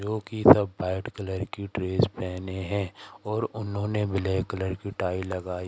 जोकि सब white colour की ड्रेस पहने हैं और उन्होंने ब्लैक कलर की टाई लगाई --